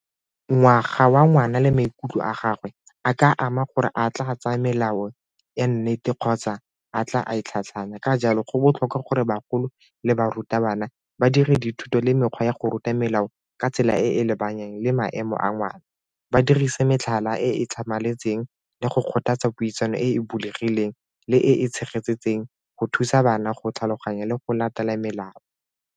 Ngwaga wa ngwana le maikutlo a gagwe a ka ama gore a tla tsaya melao ya nnete kgotsa a tla a e tlhatlhanya, ka jalo go botlhokwa gore bagolo le barutabana ba dire dithuto le mekgwa ya go ruta melao ka tsela e e lebaneng le maemo a ngwana ba dirisa metlhala e e tlhamaletseng le go kgothatsa puisano e bulegileng le e go thusa bana go tlhaloganya le go latela melao.